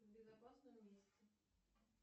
в безопасном месте